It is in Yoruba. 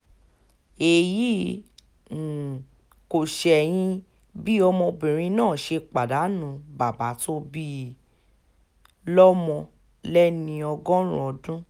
èyí um kò ṣẹ̀yìn bí ọmọbìnrin náà ṣe pàdánù bàbá tó bí i um lọ́mọ lẹ́ni ọgọ́rin ọdún